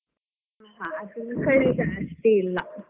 ನಮ್ಮ ಕಡೆ ಜಾಸ್ತಿ ಇಲ್ಲಾ.